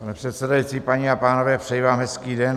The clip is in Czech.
Pane předsedající, paní a pánové, přeji vám hezký den.